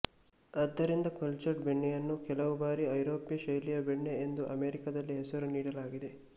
ಆದ್ದರಿಂದ ಕಲ್ಚರ್ಡ್ ಬೆಣ್ಣೆಯನ್ನು ಕೆಲವು ಬಾರಿ ಐರೋಪ್ಯ ಶೈಲಿಯ ಬೆಣ್ಣೆ ಎಂದು ಅಮೆರಿಕದಲ್ಲಿ ಹೆಸರು ನೀಡಲಾಗಿದೆ